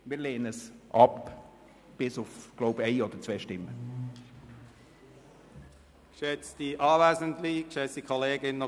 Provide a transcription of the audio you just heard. Wir lehnen es ab – bis auf eine oder zwei Stimmen, so glaube ich.